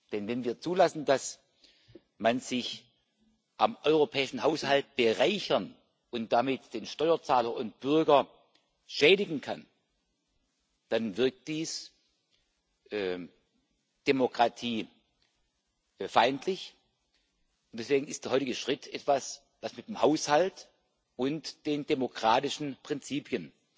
Denn wenn wir zulassen, dass man sich am europäischen Haushalt bereichern und damit den Steuerzahler und Bürger schädigen kann, dann wirkt dies demokratiefeindlich. Deswegen ist der heutige Schritt etwas, das mit dem Haushalt und den demokratischen Prinzipien